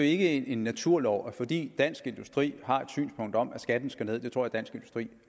ikke en naturlov at fordi dansk industri har et synspunkt om at skatten skal ned det tror jeg dansk industri